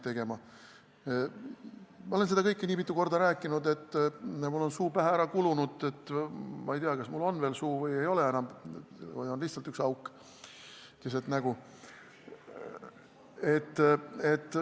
Ma olen seda kõike nii mitu korda rääkinud, et mul on suu pähe ära kulunud, ma ei tea, kas mul on veel suu või ei ole seda enam või on mul lihtsalt üks auk keset nägu.